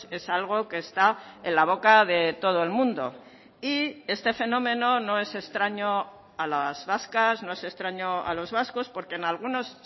es algo que está en la boca de todo el mundo y este fenómeno no es extraño a las vascas no es extraño a los vascos porque en algunos